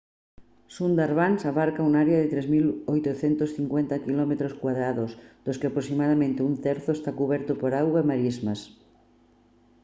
sundarbans abarca un área de 3850 km² dos que aproximadamente un terzo está cuberto por auga e marismas